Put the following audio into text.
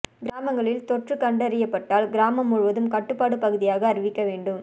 கிராமங்களில் தொற்று கண்டறியப்பட்டால் கிராமம் முழுதும் கட்டுப்பாடு பகுதியாக அறிவிக்க வேண்டும்